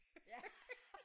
Ja